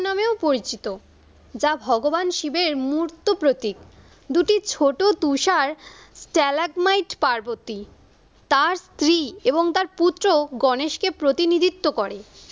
নামেও পরিচিত। যা ভগবান শিবের মুর্তপ্রতিক দুটি ছোট তুষার stelitemight পার্বতী তার স্ত্রী এবং তার পুত্র গনেশ কে প্রতিনিধিত্ব করে।